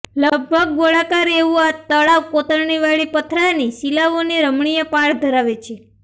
લગભગ ગોળાકાર એવું આ તળાવ કોતરણીવાડી પથરાની શિલાઓની રમણીય પાળ ધરાવે છે